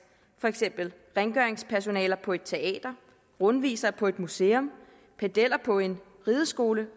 for eksempel rengøringspersonale på et teater rundvisere på et museum pedeller på en rideskole